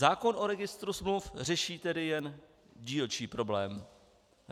Zákon o registru smluv řeší tedy jen dílčí problém.